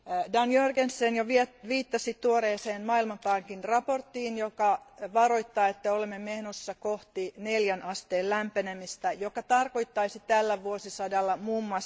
Dan Jørgensen jo viittasi tuoreeseen maailmanpankin raporttiin, joka varoittaa, että olemme menossa kohti neljän asteen lämpenemistä, joka tarkoittaisi tällä vuosisadalla mm.